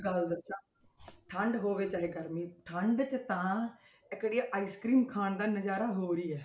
ਗੱਲ ਦੱਸਾਂ ਠੰਢ ਹੋਵੇ ਚਾਹੇ ਗਰਮੀ, ਠੰਢ 'ਚ ਤਾਂ ਇੱਕ ਜਿਹੜੀ ਆਹ ice cream ਖਾਣ ਦਾ ਨਜ਼ਾਰਾ ਹੋਰ ਹੀ ਹੈ